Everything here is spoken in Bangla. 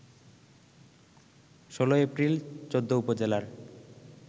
১৬ এপ্রিল ১৪ উপজেলার